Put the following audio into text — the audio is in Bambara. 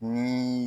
Ni